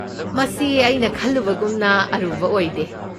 ꯃꯁꯤ ꯑꯩꯅ ꯈꯜꯂꯨꯕꯒꯨꯝꯅ ꯑꯔꯨꯕ ꯑꯣꯏꯗꯦ꯫